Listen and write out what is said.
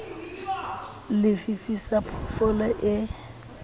le fifi sa phoofolo e